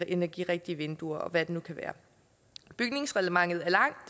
energirigtige vinduer eller hvad det nu kan være bygningsreglementet er langt